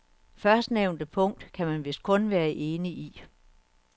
Førstnævnte punkt kan man vist kun være enig i.